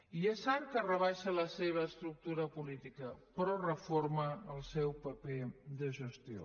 i és cert que rebaixa la seva estructura política però reforma el seu paper de gestió